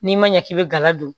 N'i ma ɲɛ k'i bɛ gala don